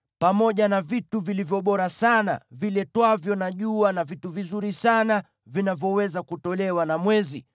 pamoja na vitu vilivyo bora sana viletwavyo na jua, na vitu vizuri sana vinavyoweza kutolewa na mwezi;